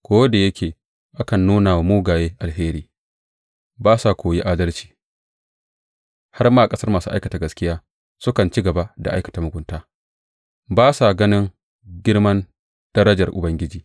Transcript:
Ko da yake akan nuna wa mugaye alheri, ba sa koyi adalci; har ma a ƙasar masu aikata gaskiya sukan ci gaba da aikata mugunta ba sa ganin girmar darajar Ubangiji.